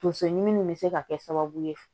Tonso ɲimi nin be se ka kɛ sababu ye